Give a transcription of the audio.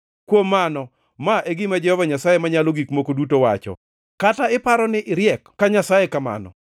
“ ‘Kuom mano, ma e gima Jehova Nyasaye Manyalo Gik Moko Duto wacho: “ ‘Kata iparo ni iriek ka nyasaye kamano,